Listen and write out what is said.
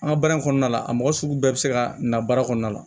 An ka baara in kɔnɔna la a mɔgɔ sugu bɛɛ bɛ se ka na baara kɔnɔna la